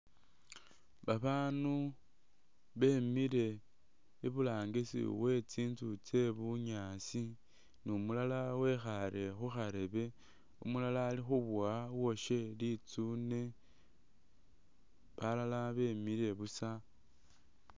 Babaandu bemile iburangisi we tsinzu tse bunyaasi ne umulala wekhaale khurebe, umalala ali khumubowa litsune, balala bemile busa.